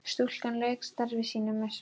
Stúlkan lauk starfi sínu með sóma.